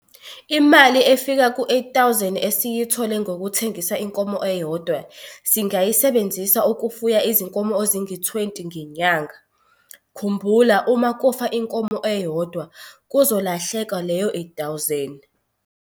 Imali efika ku-R8 000 esiyithole ngokuthengisa inkomo eyodwa singayisebenzisa ukufuya izinkomo ezingu-20 ngenyanga. Khumbula, uma kufa inkomo eyodwa kuzolahleka leyo R8 000.